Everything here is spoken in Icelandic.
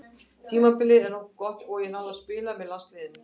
Tímabilið var nokkuð gott og ég náði að spila með landsliðinu.